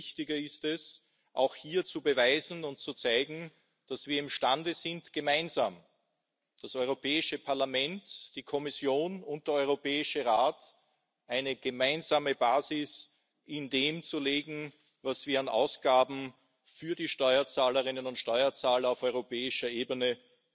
Umso wichtiger ist es, hier zu beweisen und zu zeigen, dass wir imstande sind, gemeinsam das Europäische Parlament, die Kommission und der Europäische Rat eine gemeinsame Basis in dem zu legen, wofür wir an Ausgaben gegenüber den Steuerzahlerinnen und Steuerzahlern auf europäischer Ebene